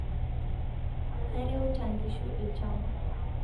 Kareuta nkishu lshamba